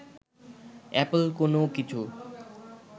Apple কোনো কিছু